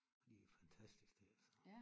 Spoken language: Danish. Og de er fantastisk til det altså